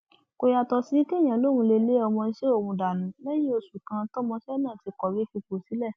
kò yàtọ sí kéèyàn lóun lé lé ọmọọṣẹ òun dànù lẹyìn oṣù kan tọmọọṣẹ náà ti kọwé fipò sílẹ